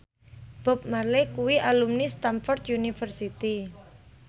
Bob Marley kuwi alumni Stamford University